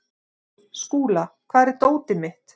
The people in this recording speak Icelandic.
Skúla, hvar er dótið mitt?